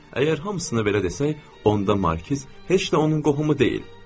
Əgər hamısına belə desək, onda Markiz heç də onun qohumu deyil.